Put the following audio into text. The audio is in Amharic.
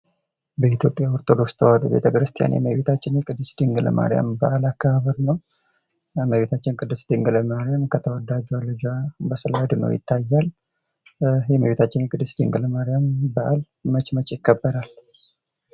በኢትዮጵያ ኦርቶዶክስ ተዋህዶ ቤተክርስቲያን የመቤታችን የቅድስት ድንግል ማርያም በአል አከባበር ነው :: የመቤታችን ቅድስት ድንግል ማርያም ከተወዳጁ ልጇ ጋራ ስል አድኖ ይታያል :: የመቤታችን ቅድስት ድንግል ማርያም በዓል መች መች ይከበራል?